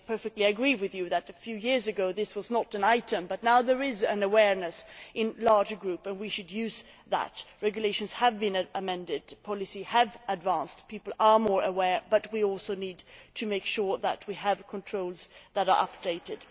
They perfectly agree with you that a few years ago this was not an issue, but now there is greater awareness, and we should use that. Regulations have been amended, policy has advanced, people are more aware, but we also need to make sure that we have controls that are updated.